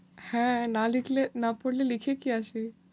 হ্যাঁ, না লিখলে না পড়লে লিখে কী আসি?